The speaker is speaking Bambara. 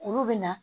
Olu bɛ na